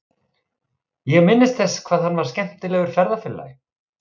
Ég minnist þess hvað hann var skemmtilegur ferðafélagi.